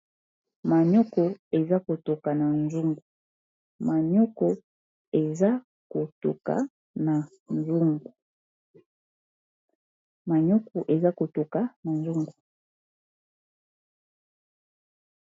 manioko eza kotoka na Nzungu.